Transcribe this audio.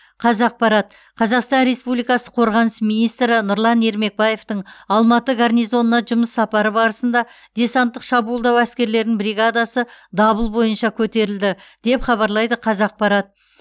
қазақпарат қазақстан республикасы қорғаныс министрі нұрлан ермекбаевтың алматы гарнизонына жұмыс сапары барысында десанттық шабуылдау әскерлерінің бригадасы дабыл бойынша көтерілді деп хабарлайды қазақпарат